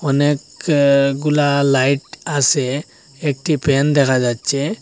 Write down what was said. অনেক অ্যা গুলা লাইট আসে একটি প্যান দেখা যাচ্ছে।